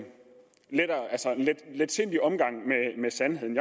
letsindig omgang med sandheden